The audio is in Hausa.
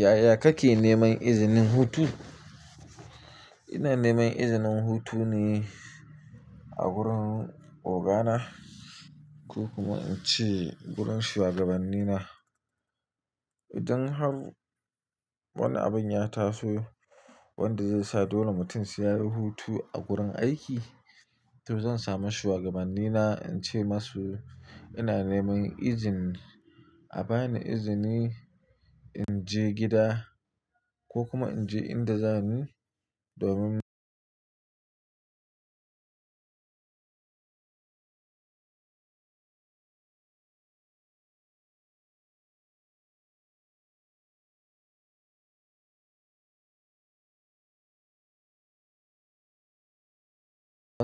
Yaya kake neman izinin hutu? Ina neman izinin hutu ne a gurin ogana ko kuma in ce gurin shuwagabanni na. Idan har wani abin ya taso wanda zai sa dole mutum sai yayi hutu a gurin aiki, to zan samu shugabanni na in ce masu ina neman izini, a bani izini in je gida ko kuma in je inda za ni domin ba